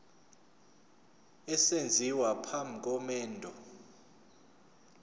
esenziwa phambi komendo